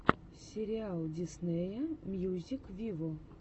сериал диснея мьюзик виво